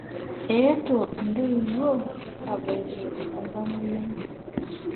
Eetuo ntoiwuo aabaiki oltamwoyiai.